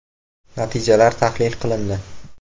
Natijalar tahlil qilindi.